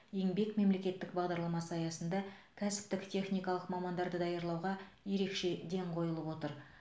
еңбек мемлекеттік бағдарламасы аясында кәсіптік техникалық мамандарды даярлауға ерекше ден қойылып отыр